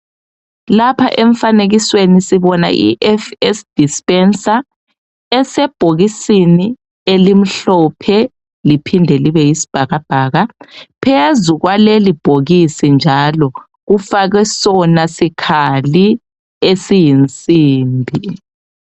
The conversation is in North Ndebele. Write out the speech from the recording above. Lapha emfanekisweni sibona iFS Dispenser esebhokisini elimhlophe liphinde libeyisibhakabhaka phezu kwaleli bhokisi njalo kufakwe sona sikhali esiyinsimbi.